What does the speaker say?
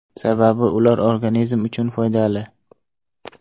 Sababi ular organizm uchun foydali.